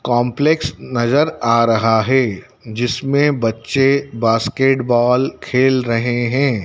Complex नजर आ रहा है जिसमें बच्चे बास्केटबॉल खेल रहे हैं।